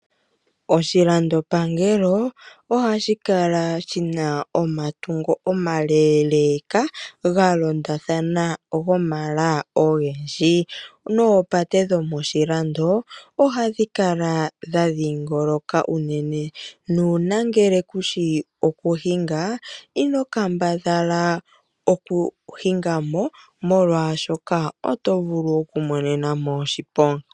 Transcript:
Oshilandopangelo ohashi kala shina omatungo omaleeleeka ga londathana gomala ogendji. Noopate dhomoshilando ohadhi kala dha dhiingoloka unene, nuuna ngele kushi okuhinga ino kambadhala okuhinga mo molwaashoka oto vulu okumonena mo oshiponga.